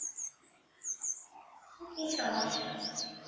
কি সমস্যা